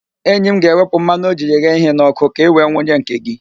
Enyi m ga-ewepụ mmanụ o jiri ghee ihe n'ọkụ ka i wee wunye nke gị